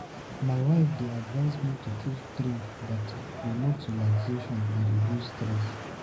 My wife dey advise me to choose drink that promote relaxation and reduce stress.